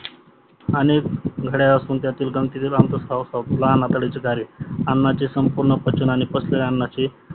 आणि घड्या असुन त्यातील ग्रथीची लांबी स्वस लहान आतड्याचे कार्य अन्नाचे स्वामपूर्ण पचन आणि पंचलेल्या अन्नचे